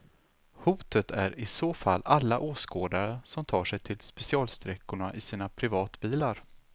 Hotet är i så fall alla åskådare som tar sig till specialsträckorna i sina privatbilar.